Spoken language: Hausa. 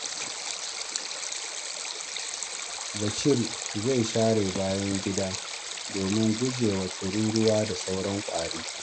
Bashir zai share bayan gidan domin guje wa tururuwa da sauran ƙwari.